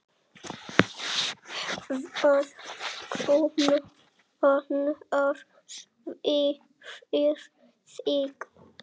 Hvað kom annars fyrir þig?